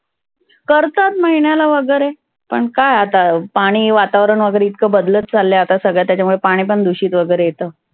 करतात महिण्याला वगैरे. पण काय आता पाणि वातावरण वगैरे इतक बदलत चाललय आता सगळ. त्याच्यामुळे पाणि पण दुषीत वगैरे येतं.